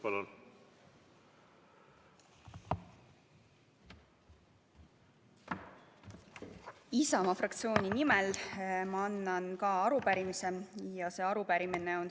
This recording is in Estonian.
Ma annan Isamaa fraktsiooni nimel ka üle arupärimise.